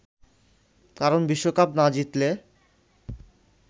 কারণ বিশ্বকাপ না জিতলে